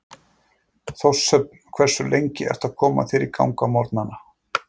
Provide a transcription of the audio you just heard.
Þórshöfn Hversu lengi ertu að koma þér í gang á morgnanna?